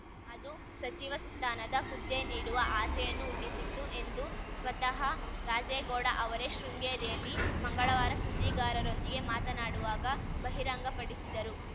ಅದು ಸಚಿವ ಸ್ಥಾನದ ಹುದ್ದೆ ನೀಡುವ ಆಸೆಯನ್ನೂ ಹುಟ್ಟಿಸಿತ್ತು ಎಂದು ಸ್ವತಹ ರಾಜೇಗೌಡ ಅವರೇ ಶೃಂಗೇರಿಯಲ್ಲಿ ಮಂಗಳವಾರ ಸುದ್ದಿಗಾರರೊಂದಿಗೆ ಮಾತನಾಡುವಾಗ ಬಹಿರಂಗ ಪಡಿಸಿದರು